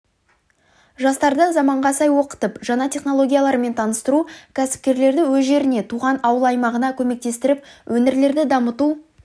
жастарды заманға сай оқытып жаңа технологиялармен таныстыру кәсіпкерлерді өз жеріне туған ауыл-аймағына көмектестіріп өңірлерді дамыту